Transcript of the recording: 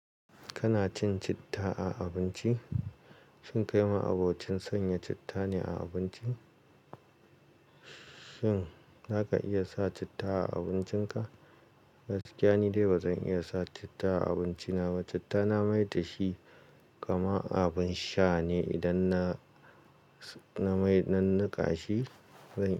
Kana cin citta a abinci? Shin kai ma abocin sanya citta ne a abincin. Shin zaka iya sa citta a abincin ka? Gaskiya ne dai ba zan iya sa citta a abinci na ba. Citta na maidashi kama abin sha ne idan na, na mai, na niƙa shi, zan yi.